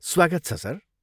स्वागत छ सर।